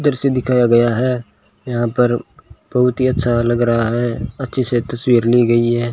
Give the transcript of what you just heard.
दृश्य दिखाया गया है यहां पर बहुत ही अच्छा लग रहा है अच्छी से तस्वीर ली गई है।